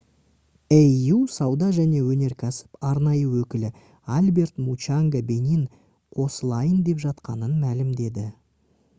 au сауда және өнеркәсіп арнайы өкілі альберт мучанга бенин қосылайын деп жатқанын мәлімдеді